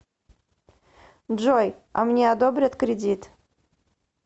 джой а мне одобрят кредит